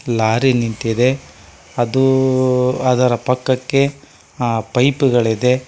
Lorry ನಿಂತಿದೆ ಅದು ಅದರ ಪಕ್ಕಕ್ಕೆ ಆ ಪೈಪ್ ಗಳಿದೆ.